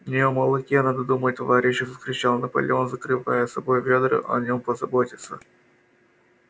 не о молоке надо думать товарищи вскричал наполеон закрывая собой ведра о нём позаботятся